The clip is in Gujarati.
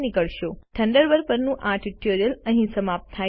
થન્ડરબર્ડ પરનું આ ટ્યુટોરીયલ અહીં સમાપ્ત થાય છે